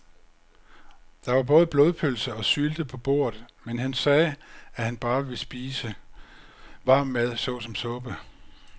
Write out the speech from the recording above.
Der var både blodpølse og sylte på bordet, men han sagde, at han bare ville spise varm mad såsom suppe.